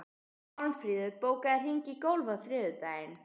Málmfríður, bókaðu hring í golf á þriðjudaginn.